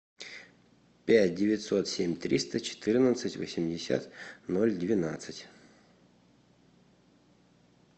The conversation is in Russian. пять девятьсот семь триста четырнадцать восемьдесят ноль двенадцать